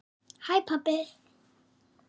HÆ PABBI!